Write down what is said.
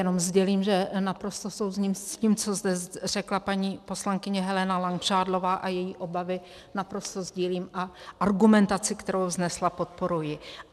Jenom sdělím, že naprosto souhlasím s tím, co zde řekla paní poslankyně Helena Langšádlová, a její obavy naprosto sdílím a argumentaci, kterou vznesla, podporuji.